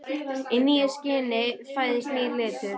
Í nýju skini fæðist nýr litur.